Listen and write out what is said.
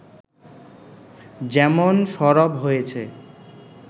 যেমন সরব হয়েছে